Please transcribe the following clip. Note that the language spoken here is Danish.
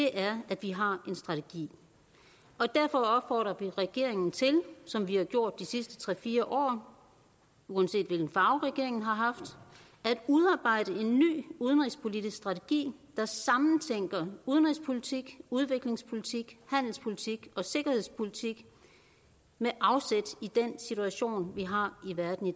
er at vi har en strategi derfor opfordrer vi regeringen til som vi har gjort de sidste tre fire år uanset hvilken farve regeringen har haft at udarbejde en ny udenrigspolitisk strategi der sammentænker udenrigspolitik udviklingspolitik handelspolitik og sikkerhedspolitik med afsæt i den situation vi har i verden i